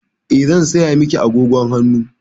Eh, zan saya miki agogon hannu.